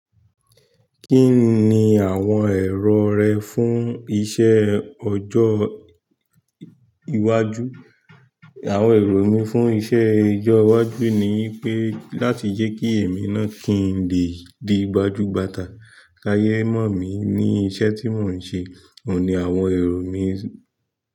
Kí ni àwọn èrò rẹ fún iṣẹ́ ọjọ́ iwájú? Àwọn èrò mi fún iṣẹ́ ọjọ́ iwájú ni wípé láti jẹ́ kí èmi náà kí n lè di gbajúgbajà, ká yé mọ̀ mí ní iṣẹ́ tí mò ń ṣe. Ó ni àwọn èrò mi.